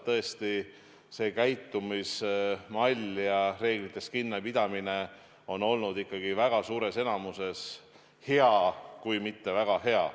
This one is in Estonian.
Tõesti, see käitumismall ja reeglitest kinnipidamine on olnud ikkagi väga suures enamuses hea, kui mitte väga hea.